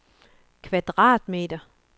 kvadratmeter